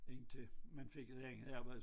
Indtil man fik et andet arbejde